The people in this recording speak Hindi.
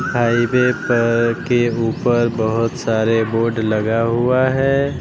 हाईवे पर केहू पर बहोत सारे बोर्ड लगा हुआ है।